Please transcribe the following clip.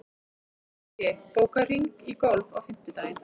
Illugi, bókaðu hring í golf á fimmtudaginn.